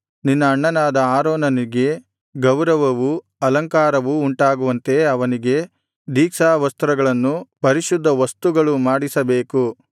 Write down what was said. ನಿನ್ನ ಅಣ್ಣನಾದ ಆರೋನನಿಗೆ ಗೌರವವೂ ಅಲಂಕಾರವೂ ಉಂಟಾಗುವಂತೆ ಅವನಿಗೆ ದೀಕ್ಷಾವಸ್ತ್ರಗಳನ್ನು ಪರಿಶುದ್ಧವಸ್ತುಗಳು ಮಾಡಿಸಬೇಕು